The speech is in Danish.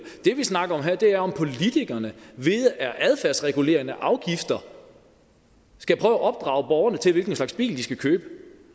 det vi snakker om her er om politikerne via adfærdsregulerende afgifter skal prøve at opdrage borgerne til hvilken slags bil de skal købe